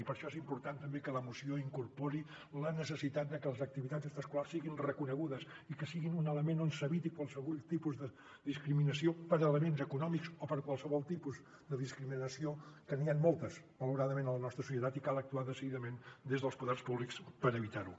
i per això és important també que la moció incorpori la necessitat de que les activitats extraescolars siguin reconegudes i que siguin un element on s’eviti qualsevol tipus de discriminació per elements econòmics o per qualsevol tipus de discriminació que n’hi han moltes malauradament a la nostra societat i cal actuar decididament des dels poders públics per evitar ho